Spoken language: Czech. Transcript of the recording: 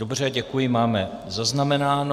Dobře, děkuji, máme zaznamenáno.